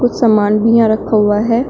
समान भी यहां रखा हुआ है।